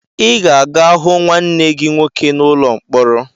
Ị ga-aga hụ nwanne gị nwoke n'ụlọ mkpọrọ!